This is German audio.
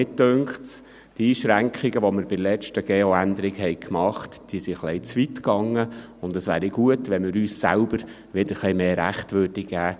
Mich dünkt, die Einschränkungen, die wir bei der letzten GO-Änderung gemacht haben, seien ein bisschen zu weit gegangen, und es wäre gut, wenn wir uns selbst etwas mehr Rechte gäben.